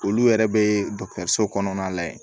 Olu yɛrɛ be so kɔnɔna lajɛ